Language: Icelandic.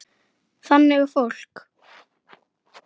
Þannig er fólk.